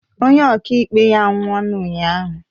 Onye ọkaikpe ya anwụọ ụnyahụ